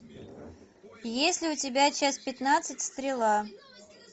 есть ли у тебя часть пятнадцать стрела